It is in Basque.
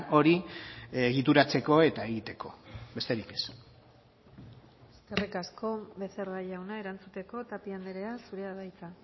hori egituratzeko eta egiteko besterik ez eskerrik asko becerra jauna erantzuteko tapia andrea zurea da hitza